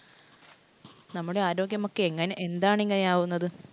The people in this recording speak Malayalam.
നമ്മുടെ ആരോഗ്യമൊക്കെ എന്താണ് ഇങ്ങനെ ആകുന്നത്?